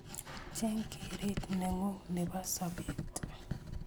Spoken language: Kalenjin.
Cheng keret nengung nebo sobet